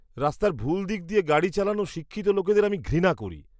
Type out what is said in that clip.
রাস্তার ভুল দিক দিয়ে গাড়ি চালানো শিক্ষিত লোকেদের আমি ঘৃণা করি।